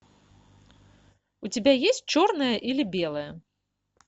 у тебя есть черное или белое